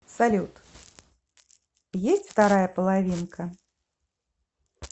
салют есть вторая половинка